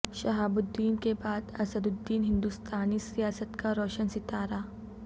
شہاب الدین کے بعد اسد الدین ہندوستانی سیاست کا روشن ستارہ